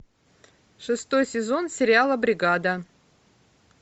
шестой сезон сериала бригада